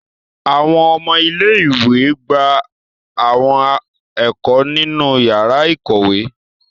Awọn ọmọ ìlé-ìwé gba awọn ẹko ninu yara ikowe